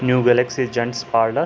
New galaxy gents parlour.